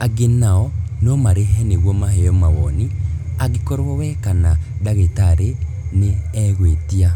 Angĩ nao no marĩhe nĩguo maheo mawoni angĩkorwo we kana ndagĩtarĩ nĩ e gwĩtia